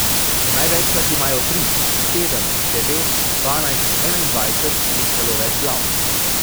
Največkrat imajo tri, sedem, devet, dvanajst, enaindvajset in celo več glav.